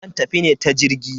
Zan tafi ne ta jirgi.